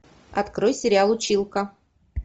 открой сериал училка